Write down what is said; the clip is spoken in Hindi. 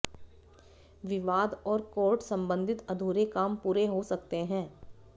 विवाद और कोर्ट संबंधित अधूरे काम पूरे हो सकते हैं